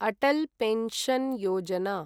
Atal pension Yojana